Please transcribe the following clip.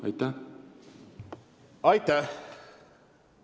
Aitäh!